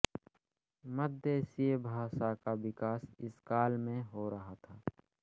मध्यदेशीय भाषा का विकास इस काल में हो रहा था